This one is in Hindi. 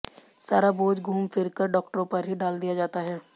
सारा बोझ घूम फिर कर डॉक्टरों पर ही डाल दिया जाता है